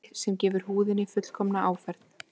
Farði sem gefur húðinni fullkomna áferð